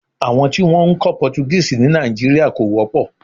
Àwọn tí wọn ń kọ́ Portuguese ní Nàìjíríà kò wọ́pọ̀.